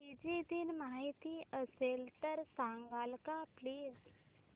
Fiji दिन माहीत असेल तर सांगाल का प्लीज